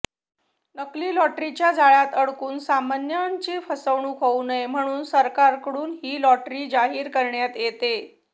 नकली लॉटरीच्या जाळ्यात अडकून सामान्यांची फसवणूक होऊ नये म्हणून सरकारकडून ही लॉटरी जाहीर करण्यात येते